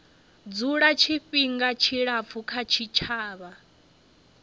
dzula tshifhinga tshilapfu kha tshitshavha